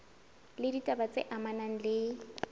le ditaba tse amanang le